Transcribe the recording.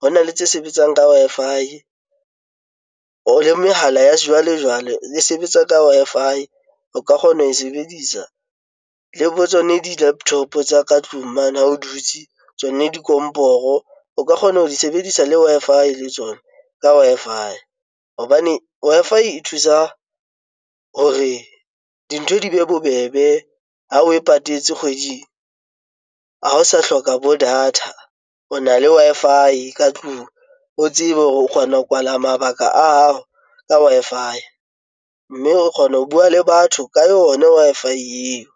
hona le tse sebetsang ka Wi-Fi o le mehala ya sejwalejwale e sebetsa ka Wi-Fi o ka kgona ho sebedisa le bo tsone di-laptop tsa ka tlung mane. Ha o dutse tswane, dikomporo o ka kgona ho di sebedisa le Wi-Fi le tsona ka Wi-Fi hobane Wi-Fi e thusa hore dintho di be bobebe. Ha oe patetse kgweding ha o sa hloka bo data, o na le Wi-Fi ka tlung, o tsebe hore o kgona ho kwala mabaka a hao ka Wi-Fi, mme re kgona ho bua le batho ka yona Wi-Fi eo.